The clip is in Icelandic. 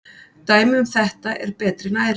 Dæmi um þetta er betri næring.